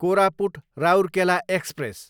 Koraput, Rourkela express